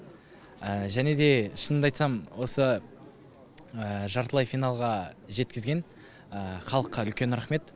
және де шынымды айтсам осы жартылай финалға жеткізген халыққа үлкен рахмет